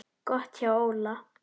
Gott hjá Óla.